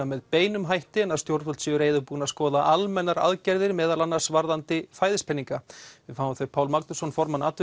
með beinum hætti en að stjórnvöld séu reiðubúin að skoða almennar aðgerðir meðal annars varðandi fæðispeninga við fáum þau Pál Magnússon formann